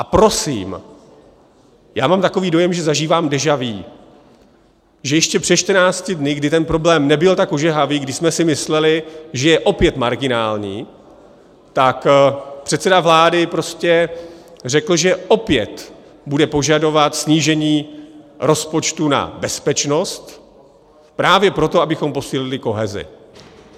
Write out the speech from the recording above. A prosím, já mám takový dojem, že zažívám déja vu, že ještě před 14 dny, kdy ten problém nebyl tak ožehavý, kdy jsme si mysleli, že je opět marginální, tak předseda vlády prostě řekl, že opět bude požadovat snížení rozpočtu na bezpečnost právě proto, abychom posílili kohezi.